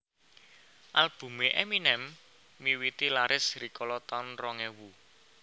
Albume Eminem miwiti laris rikala taun rong ewu